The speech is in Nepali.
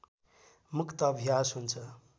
मुक्त अभ्यास हुन्छ